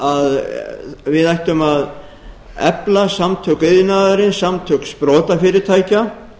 að við ættum að efla samtök iðnaðarins samtök sprotafyrirtækja